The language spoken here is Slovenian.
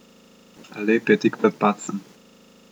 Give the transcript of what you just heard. Alep je tik pred padcem.